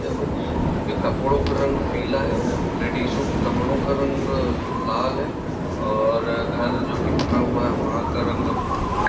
हुए जिनके कपड़ों का रंग पीला है लेडीसों के कपड़ों का रंग लाल है और घर जो कि बना हुआ है वहाँ का रंग गुल। ]